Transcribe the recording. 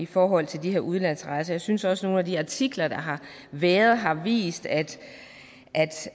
forhold til de her udenlandsrejser jeg synes også at nogle af de artikler der har været har vist at